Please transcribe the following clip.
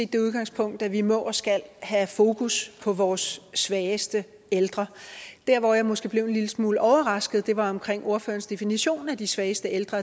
det udgangspunkt at vi må og skal have fokus på vores svageste ældre der hvor jeg måske blev en lille smule overrasket var omkring ordførerens definition af de svageste ældre